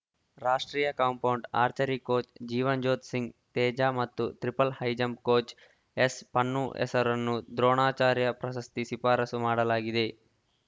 ರಾಷ್ಟ್ರೀಯ compound archery coach Jeevanjot Singh Teja ಮತ್ತು triple high jump coach ಎಸ್‌ಪನ್ನು ಹೆಸರನ್ನು ದ್ರೋಣಾಚಾರ್ಯ ಪ್ರಶಸ್ತಿ ಶಿಫಾರಸು ಮಾಡಲಾಗಿದೆ